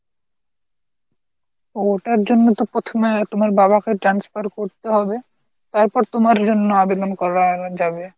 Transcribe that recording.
ও তার জন্য তো প্রথমে তোমার বাবাকে transfer করতে হবে, তারপর তোমার জন্য আবেদন করা যাবে।